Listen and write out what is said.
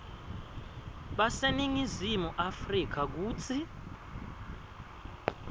baseningizimu afrika kutsi